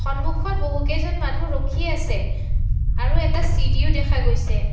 সন্মুখত বহুকেইজন মানুহ ৰখি আছে আৰু এটা চিৰিও দেখা গৈছে।